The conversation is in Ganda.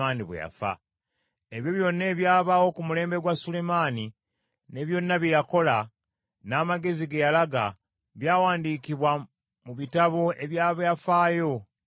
Ebyo byonna ebyabaawo ku mulembe gwa Sulemaani, ne byonna bye yakola, n’amagezi ge yalaga, byawandiikibwa mu bitabo eby’ebyafaayo ebya Sulemaani.